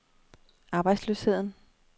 arbejdsløsheden